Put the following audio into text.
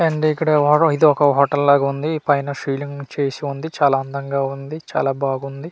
And ఇక్కడ ఇది hotel లాగా ఉంది పైన సీలింగ్ చేసి ఉంది చాలా అందంగా ఉంది చాలా బాగుంది.